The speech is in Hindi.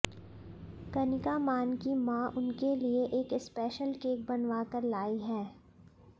कनिका मान की मां उनके लिए एक स्पेशल केक बनवाकर लाई है